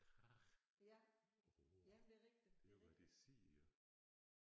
Krage råge det er hvad de siger